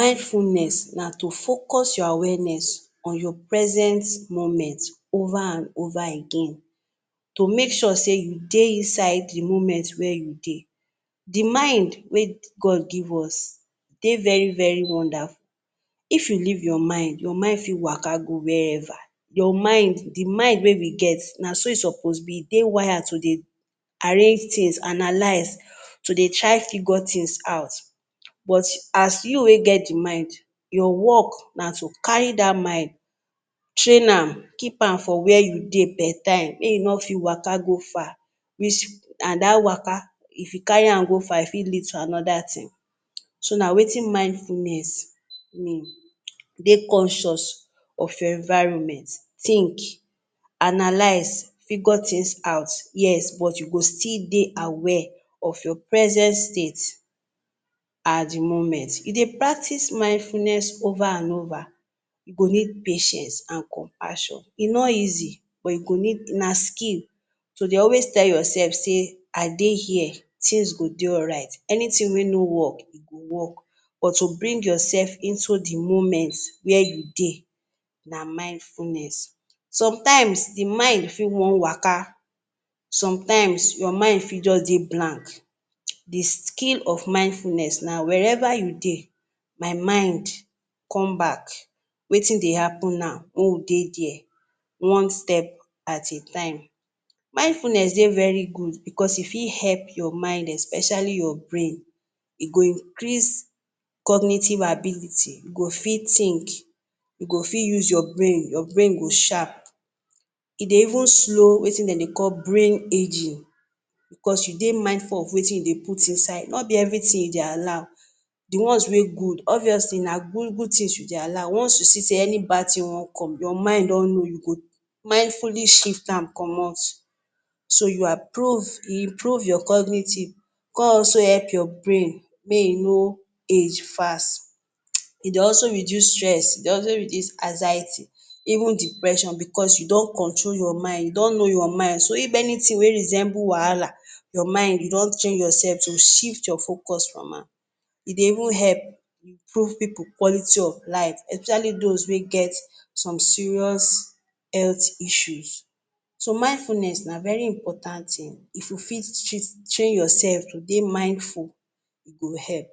Mindfulness na to focus your awareness on your present moment over and over again to make sure sey you dey inside de moment wey you dey. De mind wey God give us dey very very wonderful. If you leave your mind, your mind fit waka go wherever you mind. De mind wey we get na so e suppose be. E dey wired to dey arrange things and to dey try figure things out but as you wey get de mind, your work na to carry that mind train am keep am for where you dey. As per time wey e no fit waka go far, and that waka if you carry am go far, e fit lead another thing so na wetin mindfulness mean. Dey conscious of your environment think analyse, figure things out first but you go still dey aware of your present state at de moment. If you dey practice mindfulness over and over, you go need pain you and compassion e no easy but e go need na skill so dey always tell yourself say I dey here things go dey alright. Anything wey no work but to bring yourself into de moment where you dey na mindfulness. Sometimes de mind fit wan waka, sometimes your mind fit just dey blank; de skill of mindfulness na wherever you dey, my mind come back. Wetin dey happen now make we dey dey one step at a time. Mindfulness dey very good because e fit help your mind especially your brain increase cognitive ability. E go fit think, you go fit use your brain, your brain go sharp. E dey even slow wetin dem dey call brain ageing because you dey mindful of wetin you dey put inside. No be everything you dey allow; de ones wey good obviously na good good things you dey allow once you say and bad thing wan come your mind don know you go mindfully shift am comot. So you approve and improve your cognitive e come also help your brain make e no age fast. E dey also reduce stress. E dey also reduce anxiety even depression because you don control your mind, you don know your mind so if anything wey resemble wahala, your mind e don change yourself to shift your focus from am. E dey even help prove people quality of life especially those wey get some serious health issues. So mindfulness na very important thing if you fit train yourself to dey mindful e go help.